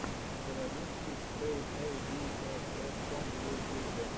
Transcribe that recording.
заводи сикс пэк эй би эс дот ком в ютюбе